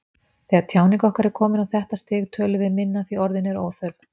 Þegar tjáning okkar er komin á þetta stig tölum við minna því orð eru óþörf.